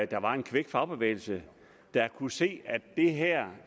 der var en kvik fagbevægelse der kunne se at det her